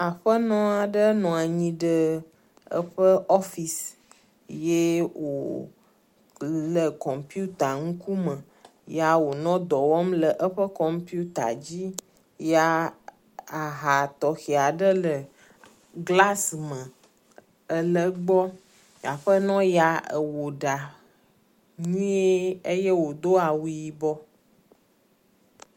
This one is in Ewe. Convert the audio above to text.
Aƒenɔ aɖe nɔ anyi ɖe eƒe ɔfis ye wòle kɔmpita ŋkume ya wòle dɔ wɔm le eƒe kɔmpita dzi ya ahã tɔxe aɖe glas me ele gbɔ. Aƒenɔ ya ewɔ ɖa nyuie eye wòdo awu yibɔ.